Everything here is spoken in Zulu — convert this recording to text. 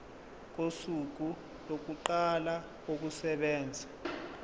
kosuku lokuqala kokusebenza